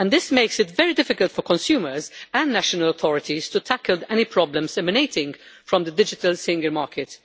This makes it very difficult for consumers and national authorities to tackle any problems emanating from the digital single market.